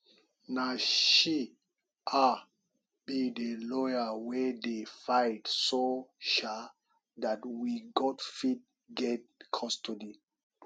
na she um be the lawyer wey dey fight so um dat we got fit get custody